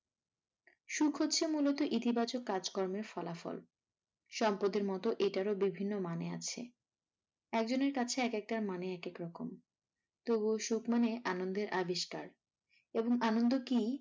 সুখ হচ্ছে মূলত ইতিবাচক কাজকর্মের ফলাফল সম্পদের মতো এটারও বিভিন্ন মানে আছে একেকজনের কাছে একেকটার মানে একেকরকম তবুও সুখ মানে আনন্দের আবিষ্কার এবং আনন্দ কি?